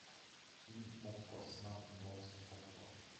фильм окко смарт бокс окко